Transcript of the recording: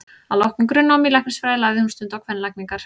Að loknu grunnnámi í læknisfræði lagði hún stund á kvenlækningar.